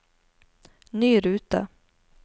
ny rute